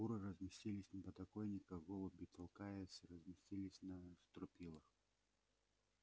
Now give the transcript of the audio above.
куры разместились на подоконниках голуби толкаясь расселись на стропилах а овцы и коровы прилегли сразу же за свиньями и принялись за свою жвачку